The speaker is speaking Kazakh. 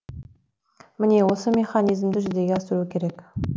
міне осы механизмді жүзеге асыру керек